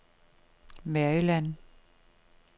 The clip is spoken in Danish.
Maryland